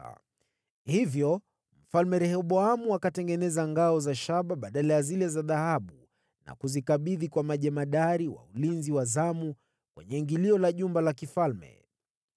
Kwa hiyo Mfalme Rehoboamu akatengeneza ngao za shaba badala ya zile za dhahabu na kuzikabidhi kwa majemadari wa ulinzi wa zamu kwenye ingilio la jumba la mfalme.